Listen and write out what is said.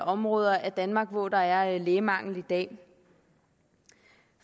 områder af danmark hvor der er lægemangel i dag